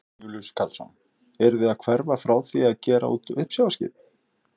Jón Júlíus Karlsson: Eruð þið að hverfa frá því að gera út uppsjávarskip?